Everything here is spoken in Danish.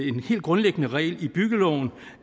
en helt grundlæggende regel i byggeloven